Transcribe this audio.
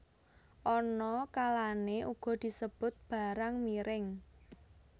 Ana kalané uga disebut barang miring